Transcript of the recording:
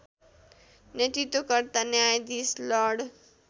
नेतृत्वकर्ता न्यायाधिश लर्ड